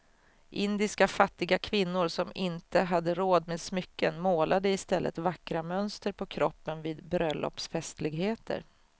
Indiska fattiga kvinnor som inte hade råd med smycken målade i stället vackra mönster på kroppen vid bröllopsfestligheter.